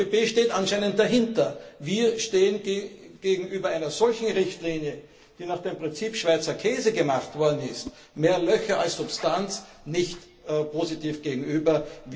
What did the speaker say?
Die EVP steht anscheinend dahinter. Wir stehen gegenüber einer solchen Richtlinie, die nach dem Prinzip Schweizer Käse gemacht worden ist, also mehr Löcher als Substanz, nicht positiv gegenüber.